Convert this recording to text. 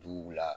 Duguw la